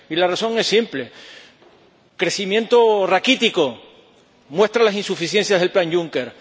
Y la razón es simple crecimiento raquítico, que muestra las insuficiencias del plan Juncker